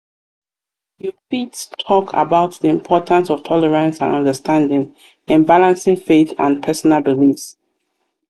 you fit talk about di importance of tolerance and understanding in balancing faith and personal beliefs.